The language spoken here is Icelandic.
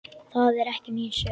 Það er ekki mín sök.